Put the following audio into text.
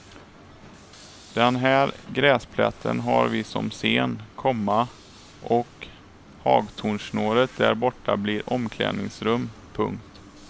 Den här gräsplätten har vi som scen, komma och hagtornsnåret där borta blir omklädningsrum. punkt